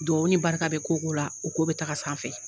Dugawu ni barika bɛ ko o ko la o ko bɛ taga sanfɛ